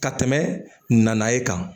Ka tɛmɛ na ye kan